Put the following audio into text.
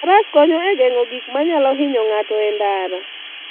Faras konyo e geng'o gik manyalo hinyo ng'ato e ndara.